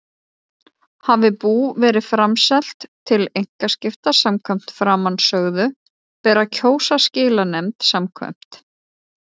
Hafi bú verið framselt til einkaskipta samkvæmt framansögðu ber að kjósa skilanefnd samkvæmt